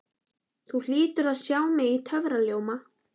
Þú hlýtur að sjá mig í töfraljóma?